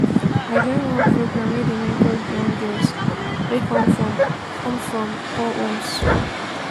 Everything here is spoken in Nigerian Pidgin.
i join one program wey dey mentor young girls wey come from come from poor homes.